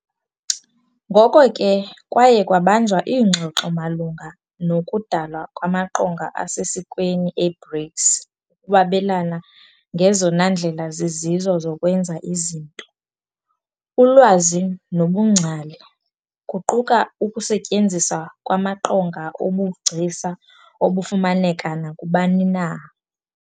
Ngoko ke, kwaye kwabanjwa iingxoxo malunga nokudalwa kwamaqonga asesikweni e-BRICS ukwabelana ngezona ndlela zizizo zokwenza izinto, ulwazi nobungcali, kuquka ukusetyenziswa kwamaqonga obugcisa obufumaneka nakubani na.